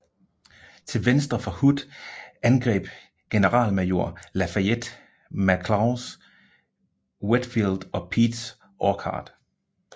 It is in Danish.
Til venstre for Hood angreb generalmajor Lafayette McLaws Wheatfield og Peach Orchard